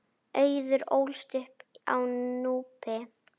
Auður ólst upp á Núpi.